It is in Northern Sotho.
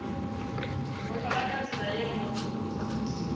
bohlola ka tsela ye o